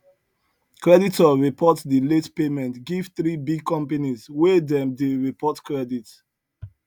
creditor report the late payment give three big companies wey dem dey report credit